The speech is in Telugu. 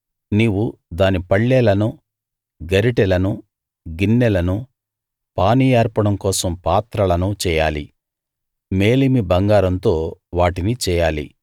నీవు దాని పళ్ళేలను గరిటెలను గిన్నెలను పానీయార్పణం కోసం పాత్రలను చేయాలి మేలిమి బంగారంతో వాటిని చేయాలి